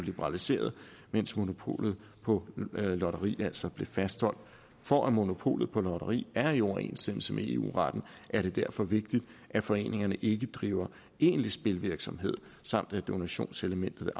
liberaliseret mens monopolet på lotteri altså blev fastholdt for at monopolet på lotteri er i overensstemmelse med eu retten er det derfor vigtigt at foreningerne ikke driver egentlig spillevirksomhed samt at donationselementet